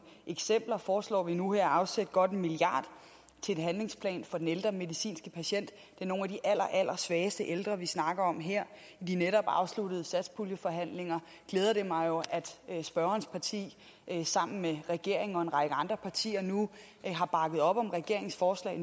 eksempler foreslår vi nu her at afsætte godt en milliard til en handlingsplan for de ældre medicinske patienter det er nogle af de allerallersvageste ældre vi snakker om her i de netop afsluttede satspuljeforhandlinger glæder det mig jo at spørgerens parti sammen med regeringen og en række andre partier nu har bakket op om regeringens forslag